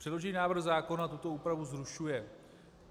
Předložený návrh zákona tuto úpravu zrušuje.